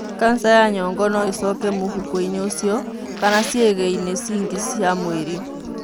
kanca ya nyongo no ĩcoke mũhuko-inĩ ũcio kana ciĩga-inĩ cingĩ cia mwĩrĩ.